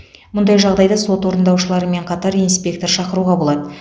мұндай жағдайда сот орындаушыларымен қатар инспектор шақыруға болады